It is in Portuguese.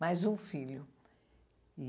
Mais um filho.